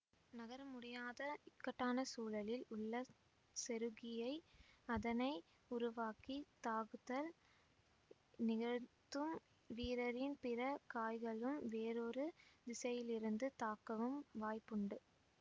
நகர முடியாத இக்கட்டான சூழலில் உள்ள செருக்கியை அதனை உருவாக்கி தாக்குதல் நிகழ்த்தும் வீரரின் பிற காய்களும் வேறொரு திசையிலிருந்து தாக்கவும் வாய்ப்புண்டு